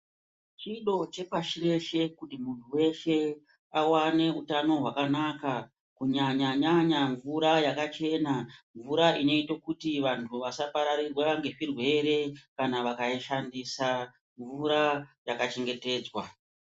Chido chepashi reshe kuti muntu weshe awane hutano hwakanaka kunyanyanyanya mvura yakachena mvura inoita kuti vantu vasaparadzira nezvirwere kana vakaishandisa mvura yakachengetedzwa.